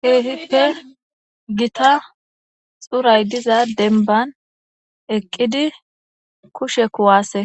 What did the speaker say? keefippe gita xuray diza denban eqqidi kushe kuwaase